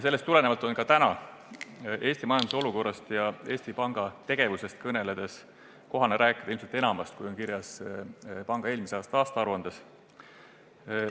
Sellest tulenevalt on täna Eesti majanduse olukorrast ja Eesti Panga tegevusest kõneldes kohane rääkida ilmselt enamast, kui on kirjas panga eelmise aasta aruandes.